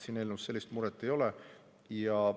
Selle eelnõuga sellist muret ei ole.